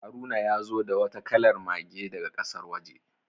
Haruna ya zo da wata kalar Mage daga kasar waje.